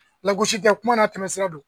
lagosikɛkuma n'a tɛmɛsira don.